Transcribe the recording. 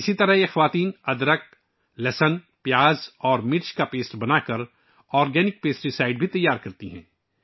اسی طرح یہ خواتین ادرک، لہسن، پیاز اور مرچ کا پیسٹ تیار کرکے نامیاتی پیسٹی سائیڈ بھی تیار کرتی ہیں